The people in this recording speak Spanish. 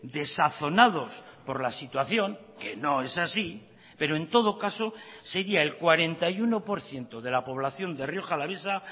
desazonados por la situación que no es así pero en todo caso sería el cuarenta y uno por ciento de la población de rioja alavesa